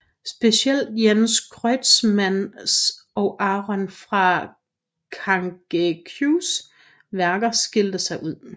Specielt Jens Kreutzmanns og Aron fra Kangeqs værker skilte sig ud